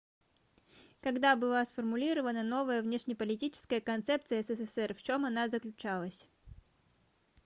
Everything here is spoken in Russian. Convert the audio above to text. когда была сформулирована новая внешнеполитическая концепция ссср в чем она заключалась